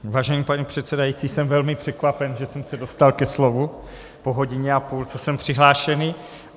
Vážený pane předsedající, jsem velmi překvapen, že jsem se dostal ke slovu po hodině a půl, co jsem přihlášený.